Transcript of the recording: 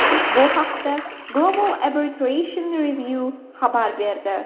Bu haqda Global Arbitration Review xabar berdi .